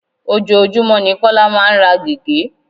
Ojoojúmó ni Kọ́lá máa ń ra gege.